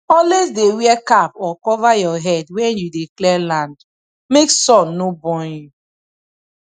always dey wear cap or cover your head when you dey clear land make sun no burn you